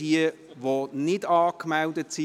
Wer nicht angemeldet ist: